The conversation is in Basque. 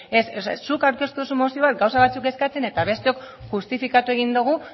ez zuk aurkeztu duzu mozio bat gauza batzuk eskatzen eta besteok justifikatu egin dugu